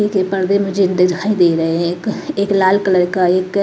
के पर्दे मुझे दिखाई दे रहे हैं एक लाल कलर का एक--